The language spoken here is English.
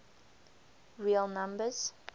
real numbers